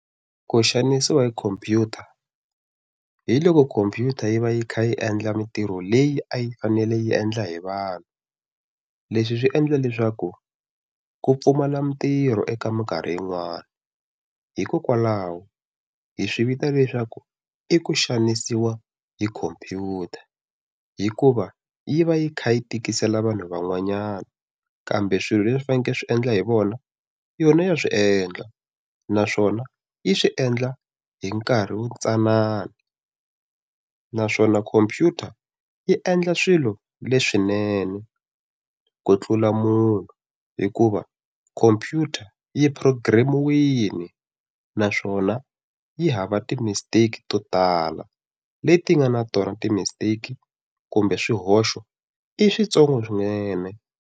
Ku xanisiwa hi khompyuta hiloko khompyuta yi va yi kha yi endla mitirho leyi a yi fanele yi endla hi vanhu leswi swi endla leswaku ku pfumala mintirho eka mikarhi yin'wani hikokwalaho hi swi vita leswaku i ku xanisiwa hi khomphyuta hikuva yi va yi kha yi tikisela vanhu van'wanyana kambe swilo leswi faneleke swi endla hi vona yona ya swi endla naswona yi swiendla hi nkarhi wu tsanana naswona khompyuta yi endla swilo leswinene ku tlula munhu hikuva khompyuta yi program-iwini naswona yi hava ti mistake to tala leti nga na tona ti mistake kumbe swihoxo i switsongo swinene.